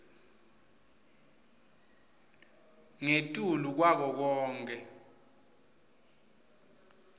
ngetulu kwako konkhe